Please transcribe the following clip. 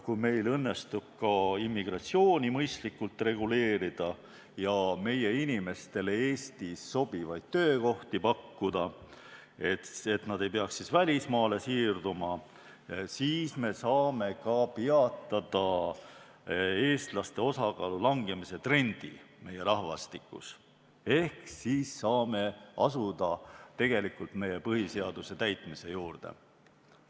Kui meil õnnestub ka immigratsiooni mõistlikult reguleerida ja meie inimestele Eestis sobivaid töökohti pakkuda, nii et nad ei peaks välismaale siirduma, siis me saame peatada ka eestlaste osakaalu langemise trendi meie rahvastikus ehk tegelikult saame asuda meie põhiseaduse täitmise juurde.